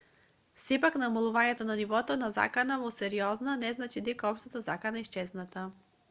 сепак намалувањето на нивото на закана во сериозна не значи дека општата закана е исчезната